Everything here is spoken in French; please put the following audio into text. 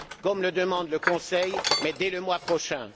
comme le demande le Conseil, mais dès le mois prochain.